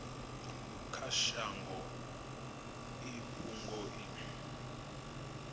kha shango i fhungo i